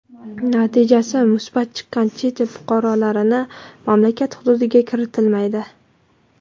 natijasi musbat chiqqan chet el fuqarolarini mamlakat hududiga kiritilmaydi.